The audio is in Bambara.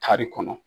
Kari kɔnɔ